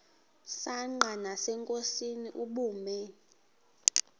msanqa nasenkosini ubume